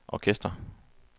orkester